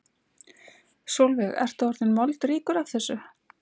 Sólveig: Ertu orðinn moldríkur af þessu?